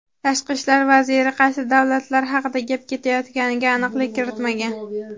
Tashqi ishlar vaziri qaysi davlatlar haqida gap ketayotganiga aniqlik kiritmagan.